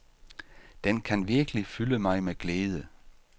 Den kan virkelig fylde mig med glæde.